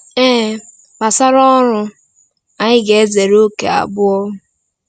Ee, gbasara ọrụ, anyị ga-ezere ókè abụọ.